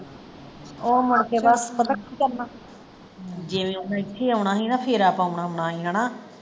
ਉਹ ਮੁੜਕੇ ਪਤਾ ਕੀ ਕਰਨਾ, ਜਿਵੇਂ ਓਹਨੇ ਇਥੇ ਆਉਣਾ ਸੀ ਨਾ ਫੇਰਾ ਪਾਉਣ ਆਉਣਾ ਸੀ ਹੈਨਾ?